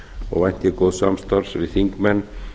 og vænti ég góðs samstarfs við þingmenn